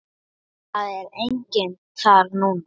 Það er enginn þar núna.